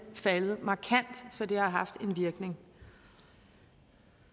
faldet markant så det har haft en virkning